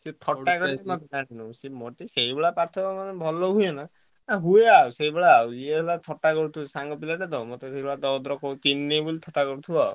ସିଏ ଥଟା ମୋର ସେଇଭଳିଆ ପାଠ ଟିକେ ଭଲ ହୁଏ ନାଁ ହୁଏ ଆଉ ସେଇଭଳିଆ ଇଏ ସାଙ୍ଗ ପିଲା ଥଟା କରୁଥିବ ସାଙ୍ଗ ପିଲାଟେ ତ ।